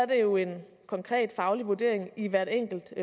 det jo en konkret faglig vurdering i hvert enkelt